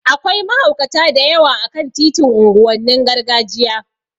Akwai mahaukata da yawa a kan titin unguwannin gargajiya